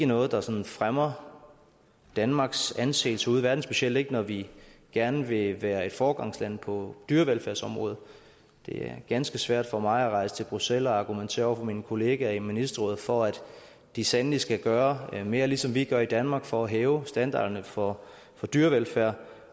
noget der sådan fremmer danmarks anseelse ude i verden specielt ikke når vi gerne vil være et foregangsland på dyrevelfærdsområdet det er ganske svært for mig at rejse til bruxelles og argumentere over for mine kolleger i ministerrådet for at de sandelig skal gøre mere ligesom vi gør i danmark for at hæve standarderne for for dyrevelfærd